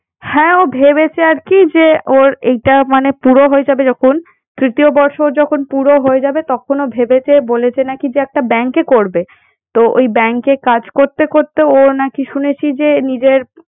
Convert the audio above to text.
হ্যাঁ ও ভেবেছে আর কি যে ওর এইটা মানে পুরো হয়ে যাবে যখন তৃতীয় বর্ষ যখন পুরো হয়ে যাবে তখন ও ভেবেছে বলেছে নাকি যে একটা bank এ করবে। তো ওই bank এ কাজ করতে করতে ও নাকি শুনেছি যে নিজের